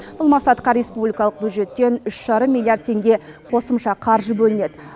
бұл мақсатқа республикалық бюджеттен үш жарым миллиард теңге қосымша қаржы бөлінеді